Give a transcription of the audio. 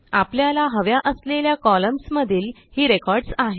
आपल्याला हव्या असलेल्या कॉलम्न्स मधील ही रेकॉर्डस आहेत